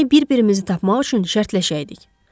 Gərək bir-birimizi tapmaq üçün şərtləşəydik.